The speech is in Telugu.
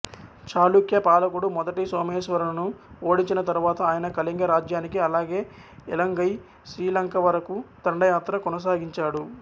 చాళుక్య పాలకుడు మొదటి సోమేశ్వరను ఓడించిన తరువాత ఆయన కళింగ రాజ్యానికి అలాగే ఇలంగై శ్రీలంకవరకు దండయాత్ర కొనసాగించాడు